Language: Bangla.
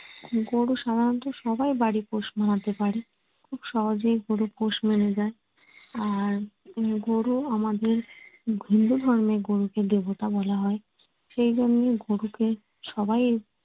গরু সাধারনত সবাই বাড়ি পোষ মানাতে পারে। খুব সহজেই গরু পোষ মেনে যায়। আর উম গরু আমাদের হিন্দু ধর্মে গরুকে দেবতা বলা হয়। সেইজন্যে গরুকে সবাই